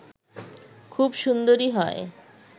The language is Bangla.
খুব সুন্দরী হয়